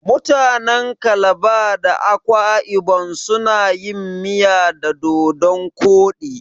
Mutanen calabar da akwa ibon suna yin miya da dodon koɗi.